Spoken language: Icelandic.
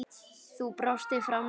Þú brostir framan í lífið.